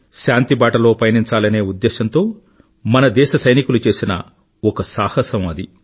శాంతిబాటలో పయనించాలనే ఉద్దేశంతో మన దేశ సైనికులు చేసిన ఒక సాహసం అది